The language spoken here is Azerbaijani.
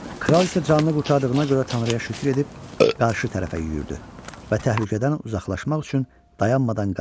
Kral isə canını qurtardığına görə Tanrıya şükür edib qarşı tərəfə yüyürdü və təhlükədən uzaqlaşmaq üçün dayanmadan qaçdı.